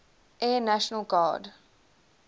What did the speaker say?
air national guard